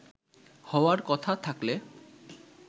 হওয়ার কথা থাকলে